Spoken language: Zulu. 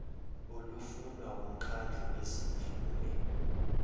olufunwa wumkhandlu wezimvume